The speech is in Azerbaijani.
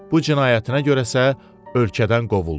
Bu cinayətinə görəsə ölkədən qovuldu.